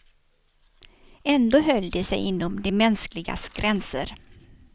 Ändå höll de sig inom det mänskligas gränser.